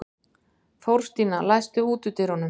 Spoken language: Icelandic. Þórstína, læstu útidyrunum.